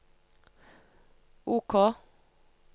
OK